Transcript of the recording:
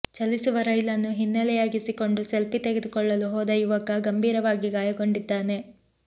ಚಲಿಸುವ ರೈಲನ್ನು ಹಿನ್ನಲೆಯಾಗಿಸಿಕೊಂಡು ಸೆಲ್ಫಿ ತೆಗೆದುಕೊಳ್ಳಲು ಹೋದ ಯುವಕ ಗಂಭೀರವಾಗಿ ಗಾಯಗೊಂಡಿದ್ದಾನೆ